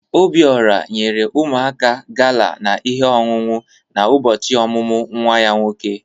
Obiora nyere ụmụaka gala na ihe onunu na ụbọchị ọmụmụ nwa ya nwoke.